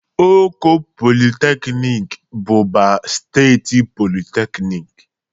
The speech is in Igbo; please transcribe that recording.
Oko Polytechnic bụbu steeti polytechnic